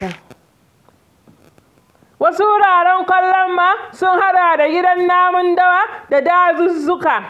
Wasu wuraren kallon ma sun haɗa da gidan namun dawa da dazuzzuka.